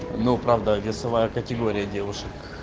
ну правда весовая категория девушек